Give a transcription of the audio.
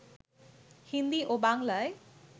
হিন্দী ও বাংলায়